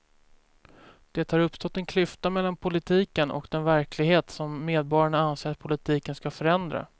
Det har uppstått en klyfta mellan politiken och den verklighet som medborgarna anser att politiken ska förändra.